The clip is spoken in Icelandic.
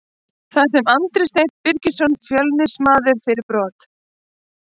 Það fær Andri Steinn Birgisson Fjölnismaður fyrir brot.